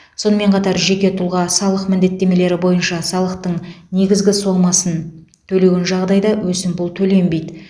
сонымен қатар жеке тұлға салық міндеттемелері бойынша салықтың негізгі сомасын төлеген жағдайда өсімпұл төленбейді